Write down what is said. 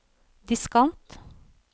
diskant